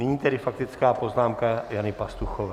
Nyní tedy faktická poznámka Jany Pastuchové.